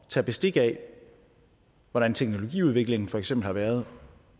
tage bestik af hvordan teknologiudviklingen for eksempel har været